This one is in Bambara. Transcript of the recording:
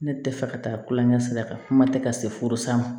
Ne tɛ fɛ ka taa kulonkɛ sira kan kuma tɛ ka se furu san ma